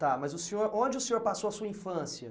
Tá, mas o senhor, onde o senhor passou a sua infância?